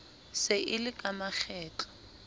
se e le ka makgetlo